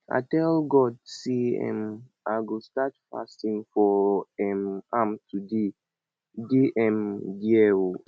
i tell god say um i go start fasting for um am today dey um there oo